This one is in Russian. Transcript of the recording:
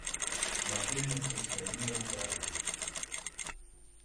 мотыльница своими руками